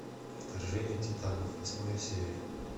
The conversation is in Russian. вторжение титанов восьмая серия